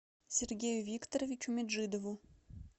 сергею викторовичу меджидову